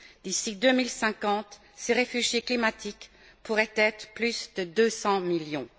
D'ici 2050, ces réfugiés climatiques pourraient être plus de 200 millions.